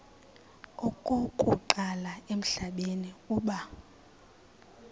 okokuqala emhlabeni uba